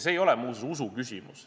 See ei ole muuseas usuküsimus.